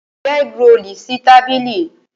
Fi ẹ́grolù sórí tábìlì!